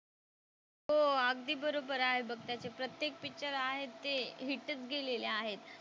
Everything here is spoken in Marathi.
हो अगदी बरोबर आहे बघ त्याचे प्रत्येक पिक्चर आहेत ते हिट च गेलेले आहेत.